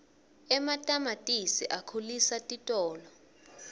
ematamatisi akhulisa sitolo